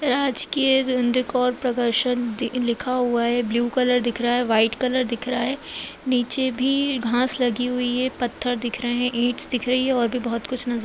राजकीय दि-लिखा हुआ है ब्लू कलर दिख रहा है व्हाइट कलर दिख रहा है नीचे भी घास लगी हुई है पत्थर दिख रहे हैं ईटस दिख रही हैं और भी बहोत कुछ नजर --